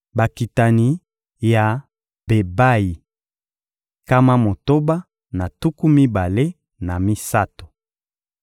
Bakitani ya Bebayi: nkama motoba na tuku mibale na misato.